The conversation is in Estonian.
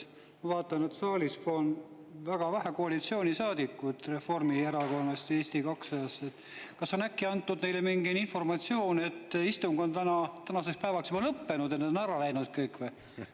Ma vaatan, et saalis on väga vähe koalitsioonisaadikuid Reformierakonnast ja Eesti 200‑st. Kas äkki on neile antud mingi informatsioon, et istung on tänaseks päevaks juba lõppenud, nad on kõik ära läinud või?